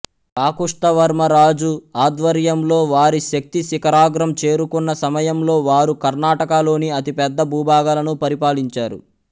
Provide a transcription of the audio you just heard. కాకుష్తవర్మ రాజు ఆధ్వర్యంలో వారి శక్తి శిఖరాగ్రం చేరుకున్న సమయంలో వారు కర్ణాటకలోని అతిపెద్ద భూభాగాలను పరిపాలించారు